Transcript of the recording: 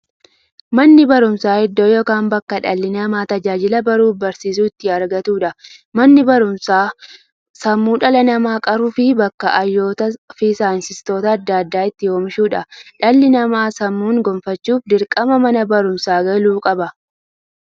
Manni baruumsaa iddoo yookiin bakkee dhalli namaa tajaajila baruufi barsiisuu itti argatuudha. Manni baruumsaa sammuu dhala namaa qaruufi bakka hayyootafi saayintistoota adda addaa itti oomishuudha. Dhalli namaa sammuun gufachuuf, dirqama Mana baruumsaa galuu qaba.